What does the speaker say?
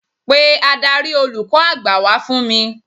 Pe Ádárì olùkọ́ àgbà wá fún mi.